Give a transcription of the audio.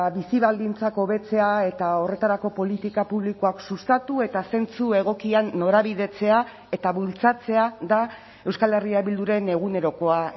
bizi baldintzak hobetzea eta horretarako politika publikoak sustatu eta zentzu egokian norabidetzea eta bultzatzea da euskal herria bilduren egunerokoa